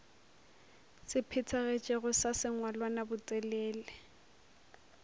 se phethagetšego sa sengwalwana botelele